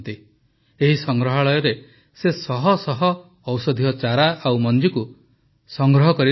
ଏହି ସଂଗ୍ରହାଳୟରେ ସେ ଶହଶହ ଔଷଧୀୟ ଚାରା ଓ ମଞ୍ଜିକୁ ସଂଗ୍ରହ କରି ରଖିଛନ୍ତି